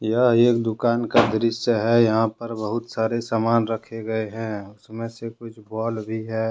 यह एक दुकान का दृश्य है यहां पर बहुत सारे सामान रखे गए हैं उसमें से कुछ बॉल भी है।